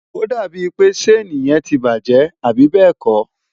ó dàbí ń pé ṣéèni yẹn ti bàjẹ́, àbí bẹ́ẹ̀ kọ́?